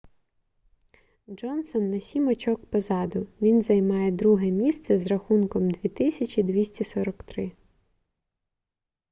джонсон на сім очок позаду він займає друге місце з рахунком 2243